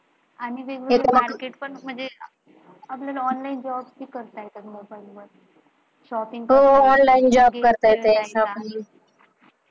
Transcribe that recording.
आपल्याला online job पण करता येतो. shopping पण हो हो online job पण करता येतो.